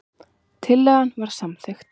Tillagan var samþykkt.